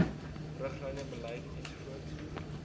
riglyne beleide ens